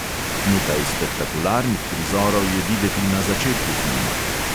Nekaj spektakularnih prizorov je videti na začetku filma.